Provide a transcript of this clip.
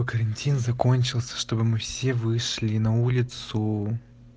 карантин закончился чтобы мы все вышли на улицу